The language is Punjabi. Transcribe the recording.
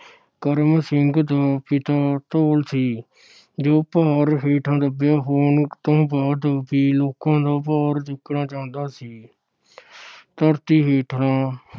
ਕਰਮ ਸਿੰਘ ਦਾ ਪਿਤਾ ਧੌਲ ਸੀ, ਜੋ ਭਾਰ ਹੇਠਾਂ ਦੱਬਿਆ ਹੋਣ ਲੋਕਾਂ ਬਾਅਦ ਲੋਕਾਂ ਦਾ ਭਾਰ ਚੁੱਕਣਾ ਚਾਹੁੰਦਾ ਸੀ। ਧਰਤੀ ਹੇਠਾਂ